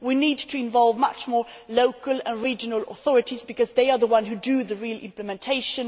We need to involve much more local and regional authorities because they are the ones who do the real implementation.